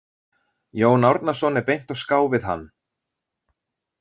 Jón Árnason er beint á ská við hann.